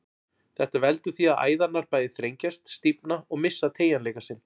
Þetta veldur því að æðarnar bæði þrengjast, stífna og missa teygjanleika sinn.